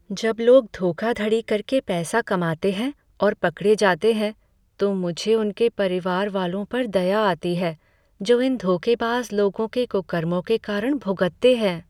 जब लोग धोखाधड़ी करके पैसा कमाते हैं और पकड़े जाते हैं, तो मुझे उनके परिवार वालों पर दया आती है जो इन धोखेबाज़ लोगों के कुकर्मों के कारण भुगतते हैं।